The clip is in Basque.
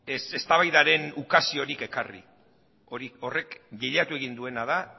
ez eztabaidaren ukaziorik ekarri horrek bilatu egin duena da